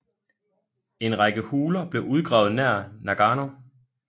En række huler blev udgravet nær Nagano